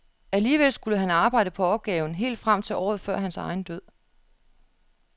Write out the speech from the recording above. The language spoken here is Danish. Alligevel skulle han arbejde på opgaven helt frem til året før hans egen død.